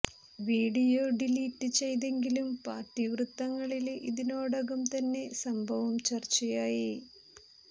video delete ചെയ്തെങ്കിലും party വൃത്തങ്ങളില് ഇതിനോടകം തന്നെ സംഭവം ചര്ച്ചയായി